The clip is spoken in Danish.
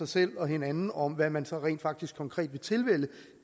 selv og hinanden om hvad man så rent faktisk konkret vil tilvælge